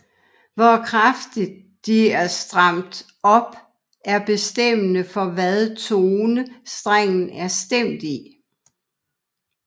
Hvor kraftigt de er stramt op er bestemmende for hvad tone strengen er stemt i